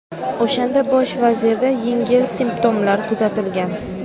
O‘shanda bosh vazirda yengil simptomlar kuzatilgan.